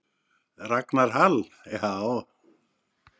Ragnar Hall: Já.